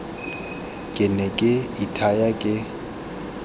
ke ne ke ithaya ke